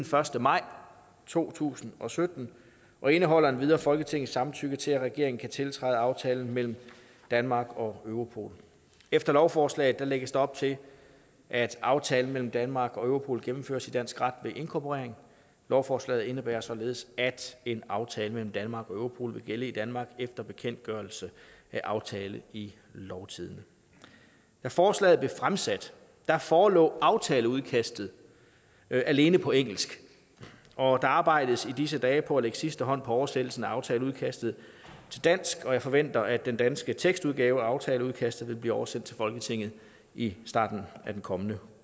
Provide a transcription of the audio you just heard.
første maj to tusind og sytten og indeholder endvidere folketingets samtykke til at regeringen kan tiltræde aftalen mellem danmark og europol efter lovforslaget lægges der op til at aftalen mellem danmark og europol gennemføres i dansk ret ved inkorporering lovforslaget indebærer således at en aftale mellem danmark og europol vil gælde i danmark efter bekendtgørelse af aftalen i lovtidende da forslaget blev fremsat forelå aftaleudkastet alene på engelsk og der arbejdes i disse dage på at lægge sidste hånd på oversættelsen af aftaleudkastet til dansk og jeg forventer at den danske tekstudgave af aftaleudkastet vil blive oversendt til folketinget i starten af den kommende